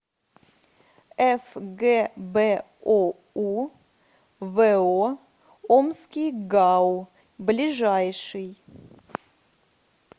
фгбоу во омский гау ближайший